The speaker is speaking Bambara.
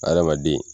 Adamaden